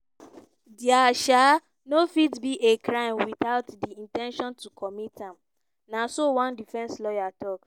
"dia um no fit be a crime without di in ten tion to commit am" na so one defence lawyer tok.